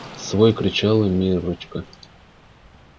свой кричала миррочка